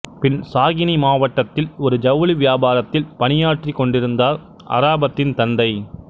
பின் சாகினி மாவட்டத்தில் ஒரு ஜவுளி வியாபாரத்தில் பணியாற்றிக்கொண்டிருந்தார் அராபத்தின் தந்தை